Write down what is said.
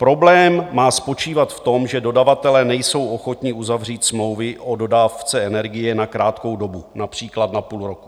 Problém má spočívat v tom, že dodavatelé nejsou ochotni uzavřít smlouvy o dodávce energie na krátkou dobu, například na půl roku.